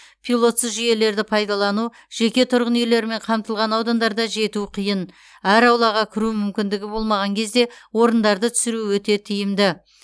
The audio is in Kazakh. пилотсыз жүйелерді пайдалану жеке тұрғын үйлермен қамтылған аудандарда жету қиын әр аулаға кіру мүмкіндігі болмаған кезде орындарды түсіру өте тиімді